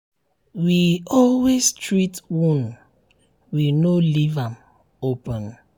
um we always treat wound we um no leave am open.